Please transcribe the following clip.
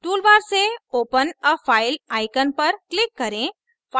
toolbar से open a file icon पर click करें